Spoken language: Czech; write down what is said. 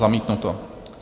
Zamítnuto.